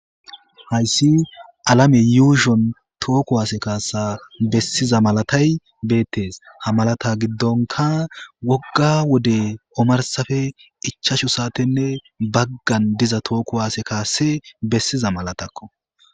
Hayssi alame yuushshon toho kuwase kasa besiza malata y bettes ha malata giddoppe woogga wode ommarssappe ichachu saate baggan toho kuwase kasi besiza malatakko